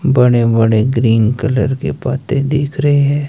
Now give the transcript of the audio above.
बड़े बड़े green colour के पत्ते दिख रहे हैं